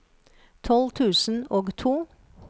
tolv tusen og to